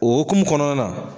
O okumun kɔnɔna na.